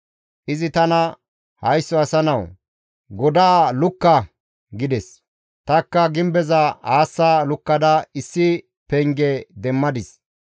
Izi tana, «Haysso asa nawu! Godaa lukka» gides; tanikka gimbeza aassa lukkada issi penge demmadis.